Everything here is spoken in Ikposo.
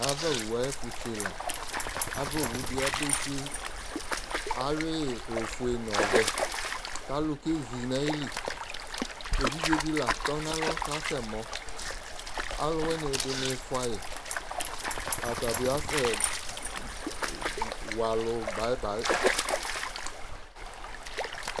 ava owu ayi ɛfo se la ava owu di abe se awi ofue no ɔvɛ ko alo ke zi no ayili evidze di la tɔ no alɔ ko asɛ mɔ alowini di ɔka sɛ ko ɛdini foa yi ɛdi asɛ wa alo bai bai